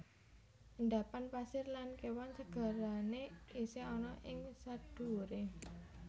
Endapan pasir lan kewan segarane isih ana ing sadhuwure